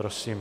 Prosím.